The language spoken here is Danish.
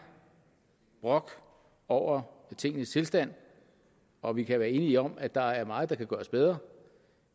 brok over tingenes tilstand og vi kan være enige om at der er meget der kan gøres bedre